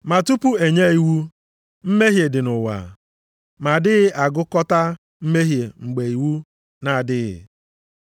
Ma tupu e nye iwu, mmehie dị nʼụwa. Ma a dịghị agụkọta mmehie mgbe iwu na-adịghị.